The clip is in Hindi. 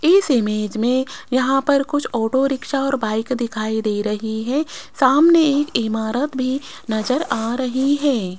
इस इमेज में यहां पर कुछ ऑटो रिक्शा और बाइक दिखाई दे रहे हैं सामने एक इमारत भी नज़र आ रही हैं।